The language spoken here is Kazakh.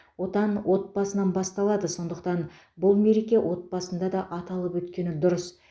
отан отбасынан басталады сондықтан бұл мереке отбасында да аталып өткені дұрыс